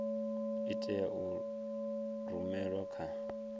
i tea u rumelwa kha